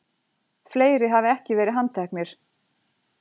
Fleiri hafi ekki verið handteknir